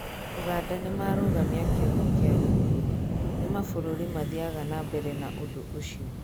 uganda nĩmarũgamia kĩoho kĩa gĩkuũ: ni mabũrũri mathiaga na mbere na ũndũ ũcio?